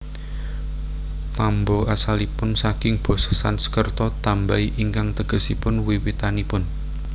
Tambo asalipun saking basa Sansekerta tambay ingkang tegesipun wiwitanipun